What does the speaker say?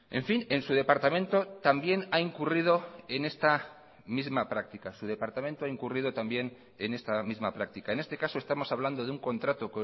en fin en su departamento también ha incurrido en esta misma práctica su departamento ha incurrido también en esta misma práctica en este caso estamos hablando de un contrato